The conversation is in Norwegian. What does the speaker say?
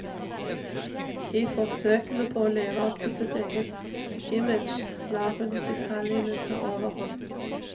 I forsøkene på å leve opp til sitt eget image, lar hun detaljene ta overhånd.